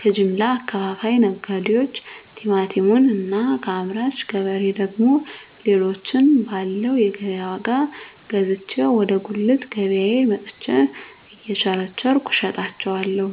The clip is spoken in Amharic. ከጀምላ አከፋፋይ ነጋዴዎች ቲማቲሙን እና ከአምራች ገበሬ ደግሞ ሌሎችን ባለው የገቢያ ዋጋ ገዝቼ ወደ ጉልት ገቢያየ መጥቸ እየቸረቸርኩ እሸጣለሁ